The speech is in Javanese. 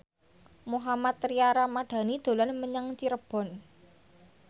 Mohammad Tria Ramadhani dolan menyang Cirebon